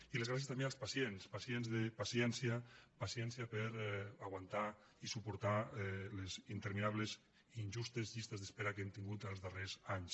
i les gràcies també als pacients pacients de paciència paciència per aguantar i suportar les interminables i injustes llistes d’espera que hem tingut els darrers anys